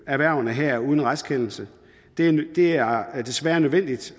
erhvervene her uden en retskendelse det er desværre nødvendigt